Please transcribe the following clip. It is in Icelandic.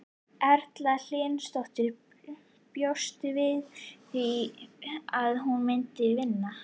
Erla Hlynsdóttir: Bjóstu við að þú myndir vinna?